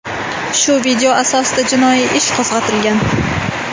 Shu video asosida jinoiy ish qo‘zg‘atilgan.